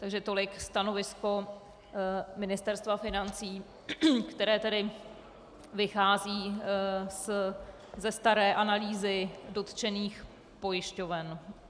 Takže tolik stanovisko Ministerstva financí, které tedy vychází ze staré analýzy dotčených pojišťoven.